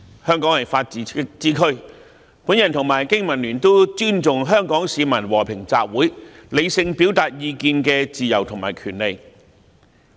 香港是法治之都，本人和經民聯都尊重香港市民和平集會，理性表達意見的自由及權利。